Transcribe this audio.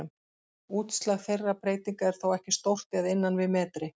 Útslag þeirra breytinga er þó ekki stórt eða innan við metri.